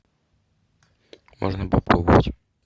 можно попробовать